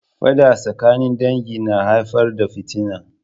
Faɗa tsakanin dangi na haifar da fitina.